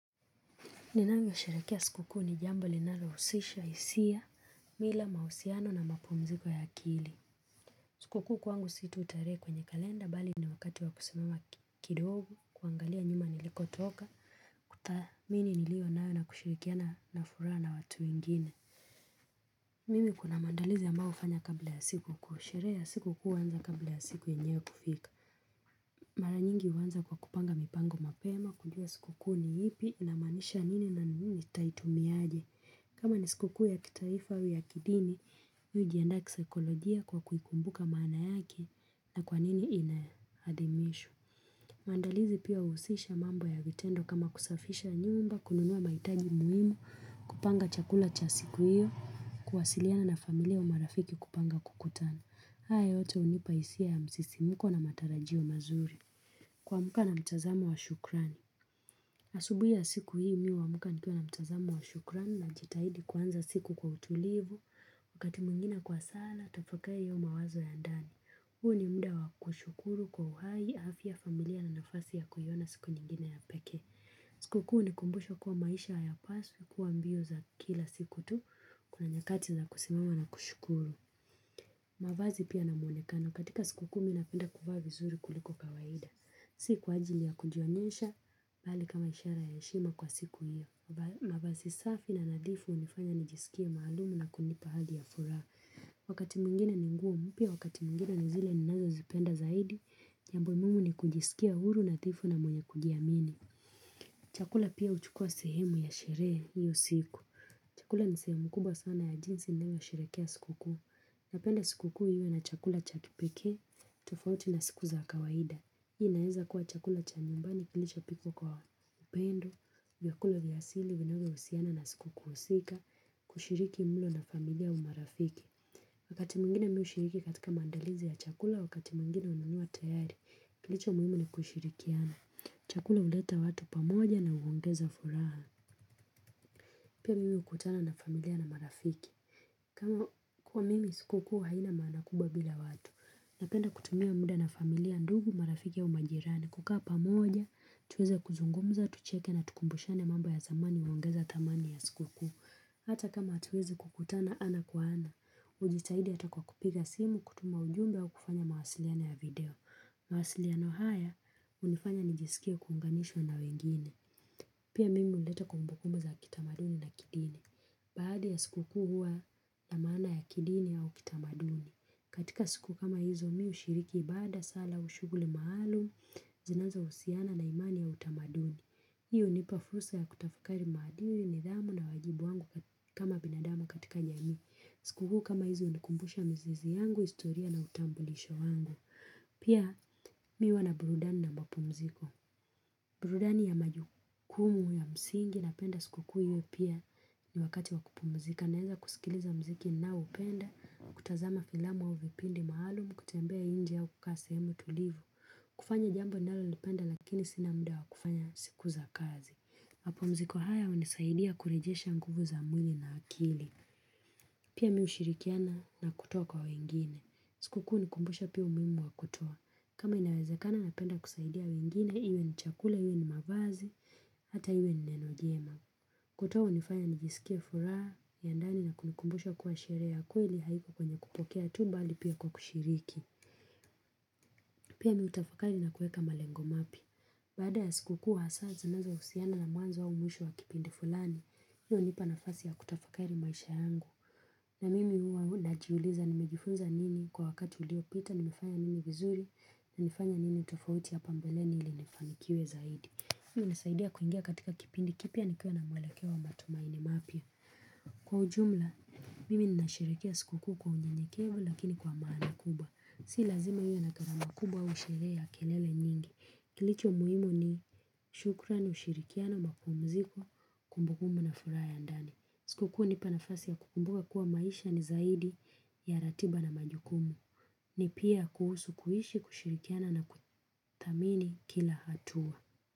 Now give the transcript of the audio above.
Ninavyo sherehekea sikuku ni jambo linalo husisha, hisia, mila, mahusiano na mapumziko ya akili. Sikukuu kwangu si tu tarehe kwenye kalenda, bali ni wakati wa kusimama kidogo, kuangalia nyuma niliko toka, kuthaniini niliyo nayo na kushirikiana na furaha na watu wengine. Mimi kuna maandaliz ambayo hufanya kabla ya sikuku. Sherehe ya sikukuu huanza kabla ya siku yenyewe kufika. Mara nyingi huanza kwa kupanga mipango mapema, kujua sikukuu ni ipi na imaanisha nini na nini tutaimiaje. Kama nisikuku ya kitaifa au ya kidini, hujianda kisikolojia kwa kuikumbuka maana yake na kwanini inaadimishwa. Mandalizi pia huhusisha mambo ya vitendo kama kusafisha nyumba, kununua mahutaji muhimu, kupanga chakula cha siku hiyo, kuwasiliana na familia marafiki kupanga kukutana. Hayo yote hunipa hisia ya msisimuko na matarajio mazuri. Kuamka na mtazamo wa shukrani. Asubuhi ya siku hii mimi huamka nikiwa na mtazamo wa shukrani najitahidi kuanza siku kwa utulivu. Wakati mwengine kwa sala, tafakari au mawazo ya ndani. Huu ni muda wa kushukuru kwa uhai, afya ya familia na nafasi ya kuiona siku nyingine ya peke. Sikukuu huni kumbusha kuwa maisha hayapaswi kuwa mbio za kila siku tu. Kuna nyakati za kusimama na kushukuru. Mavazi pia na mwonekano, katika sikukuu mimi napenda kuvaa vizuri kuliko kawaida. Si kwa ajilii ya kujionyesha, bali kama ishara ya heshima kwa siku hiyo. Mavazi safi na nadhifu hunifanya nijisikie maalumu na kunipa hadhi ya furaha. Wakati mwengine ni nguo mpya, wakati mwengine nizile ninazo zipenda zaidi, jambo muhimu ni kujisikia huru na nadhifu na mwenye kujiamini. Chakula pia huchukua sehemu ya sherehe hiyo siku. Chakula ni sehemu kubwa sana ya jinsi ninavyoshetehekea sikukuu. Napenda sikukuu hmiwe na chakula cha kipekee, tofauti na siku za kawaida. Hii inaaeza kuwa chakula cha nyumbani kilicho pikwa kwa upendo, vyakula vya asili, vinavyo husiana na sikukuu husika, kushiriki mulo na familia umarafiki. Wakati mwengine mimi hushiriki katika mandalizi ya chakula, wakati mwengine hununua tayari, kilicho muhimu na kushirikiana. Chakula huleta watu pamoja na huongeza furaha. Pia mimi hukutana na familia na marafiki. Kama kwa mimi sikukuu haina maana kubwa bila watu, napenda kutumia muda na familia ndugu marafiki ya u au majirani. Kukaa pamoja, tuweze kuzungumza, tucheke na tukumbushane mambo ya zamani huongeza thamani ya sikuku. Hata kama hatuwezi kukutana ana kwa ana, hujitahidi hata kwa kupiga simu kutuma ujumbe wa kufanya mawasiliano ya video. Mwasiliano haya, hunifanya nijisikie kuunganishwa na wengine. Pia mimi huleta kumbukumbu za kitamaduni na kidini. Baada ya sikukuu huwa, na maana ya kidini au kitamaduni. Katika siku kama hizo mimi hushiriki, ibada sala au shughuli maaalum zinazo husiana na imani ya utamaduni. Hii hunipafursa ya kutafakari maadili nidhamu na wajibu wangu kama binadamu katika jamii. Sikukuu kama hizo hunikumbusha mizizi yangu, historia na utambulisho wangu. Pia mimi huwa na burudani na mapumziko. Burudani ya majukumu ya msingi napenda sikukuu hiyo pia ni wakati wakupumzika. Naweza kusikiliza muziki ninaoupenda, kutazama filamu au vipindi maalum, kutembea nje au kukaa sehemmu tulivu. Kufanya jambo ninalo lipenda lakini sina muda wa kufanya siku za kazi. Mapumziko haya hunisaidia kurejesha nguvu za mwili na akili. Pia mimi hushirikiana na kutoa kwa wengine. Sikukuu hunikumbusha pia umuhimu wa kutoa. Kama inawezakana napenda kusaidia wengine, iwe ni chakula, iwe ni mavazi, hata iwe ni neno jema. Kutoa hunifanya nijisikie furaha ya ndani na kunikumbusha kuwa sherehe ya kweli haiko kwenye kupokea tu bali pia kwa kushiriki. Pia miii hutafakari na kuweka malengo mapi. Baada ya sikukuu hasaa zinazo husiana na mwanzo au mwisho wa kipindi fulani hiyo hunipa nafasi ya kutafakari maisha yangu. Na mimi huwa najiuliza nimejifunza nini kwa wakati uliopita nimefanya nimi vizuri. Nimefanya nini tofauti hapa mbeleni ili nifanikiwe zaidi. Hiyo hunisaidia kuingia katika kipindi kipya nikiwa na mwelekeo wa matumaini mapya. Kwa ujumla, mimi nasherehekea sikukuu kwa unyenyekevu lakini kwa amani kubwa. Si lazima iwe na gharama kubwa au sherehe ya kelele nyingi. Kilicho muhimu ni shukrani ushirikiana mapumuziko kumbukumu na furaha ya ndani. Sikukuu hunipa nafasi ya kukumbuka kuwa maisha ni zaidi ya ratiba na majukumu. Ni pia kuhusu kuishi kushirikiana na kuthamini kila hatua.